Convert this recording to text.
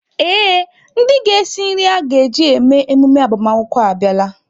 Ee, ndị ga-esi nri a ga-eji eme emume agbamakwụkwọ abịala.